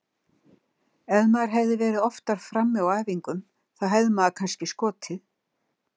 Ef maður hefði verið oftar frammi á æfingum þá hefði maður kannski skotið.